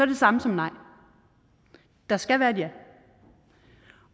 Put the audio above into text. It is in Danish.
det samme som nej der skal være et ja